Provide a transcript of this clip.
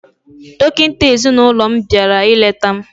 Dọkịta ezinaụlọ m bịara ileta m